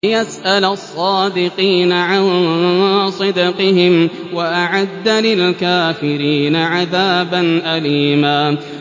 لِّيَسْأَلَ الصَّادِقِينَ عَن صِدْقِهِمْ ۚ وَأَعَدَّ لِلْكَافِرِينَ عَذَابًا أَلِيمًا